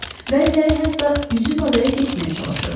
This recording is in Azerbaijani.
Bəziləri hətta üzüb adaya getməyə çalışırdı.